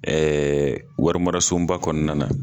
warimarasoba kɔnɔna na.